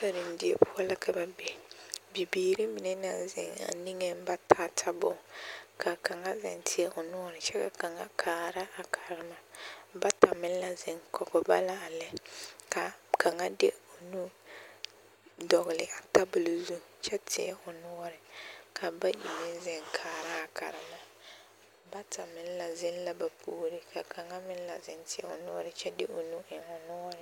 Karendie poɔ la ka ba be bibiiri mine naŋ zeŋ a niŋeŋ ba taa tabol ka kaŋa zeŋ teɛ o noɔre kyɛ ka kaŋa kaara a karema bata meŋ la zeŋ kɔge ba la a lɛ kaa kaŋa de o nu dɔgli a tabol zu kyɛ teɛ o noɔre ka bayi meŋ zeŋ kaaraa karema bata meŋ la zeŋ la ba puoreŋ kyɛ ka kaŋa meŋ la zeŋ teɛ o noɔre kyɛ de o nu eŋ o noɔreŋ.